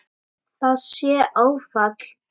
Það sé áfall.